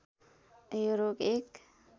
यो रोग एक